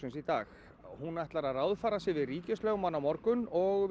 í dag hún ætlar að ráðfæra sig við ríkislögmann á morgun og